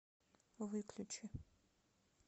выключи